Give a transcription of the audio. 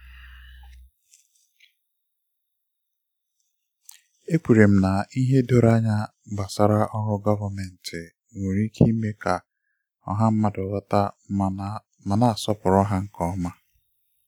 ekwere m na ìhè doro anya gbasara ọrụ gọvanmentị nwere ike ime ka ọha mmadụ ghọta ma na-asọpụrụ ha nke ọma.